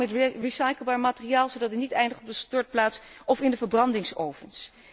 Betere omgang met recycleerbaar materiaal, zodat het niet eindigt op de stortplaats of in de verbrandingsovens.